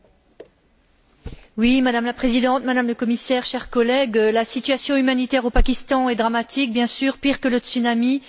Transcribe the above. Madame la Présidente, Madame la Commissaire, chers collègues, la situation humanitaire au Pakistan est dramatique, pire que le tsunami qui a touché l'Asie.